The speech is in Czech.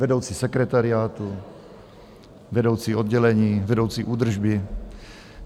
Vedoucí sekretariátu, vedoucí oddělení, vedoucí údržby...